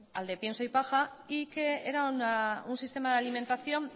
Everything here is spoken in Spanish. al de pienso y paja y que era un sistema de alimentación